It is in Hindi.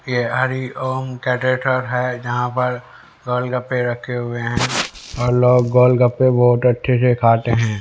ये हरी ओम है जहां पर गोलगप्पे रखे हुए हैं और लोग गोलगप्पे बहोत अच्छे से खाते हैं।